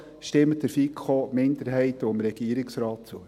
Also: Stimmen Sie der FiKo-Minderheit und dem Regierungsrat zu.